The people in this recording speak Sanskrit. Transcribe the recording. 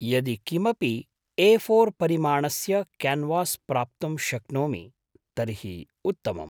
यदि किमपि ए फोर् परिमाणस्य क्यान्वास् प्राप्तुं शक्नोमि तर्हि उत्तमम्।